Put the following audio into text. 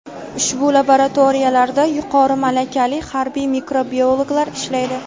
Ushbu laboratoriyalarda yuqori malakali harbiy mikrobiologlar ishlaydi.